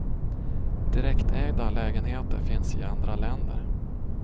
Direktägda lägenheter finns i andra länder.